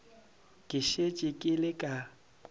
ke šetše ke le ka